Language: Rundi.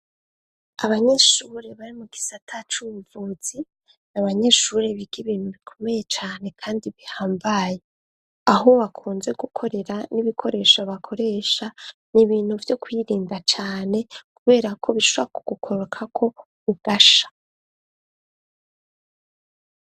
Abanyeshure bari mu gisata c'ubuvuzi n'abanyeshuri biga ibintu bikomeye cane kandi bihambaye aho bakunze gukorera n'ibikoresho bakoresha niibintu byo kuyirinda cane kubera ko bishwa kugukoroka ko ugasha.